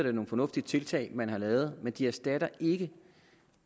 er nogle fornuftige tiltag man har lavet men de erstatter ikke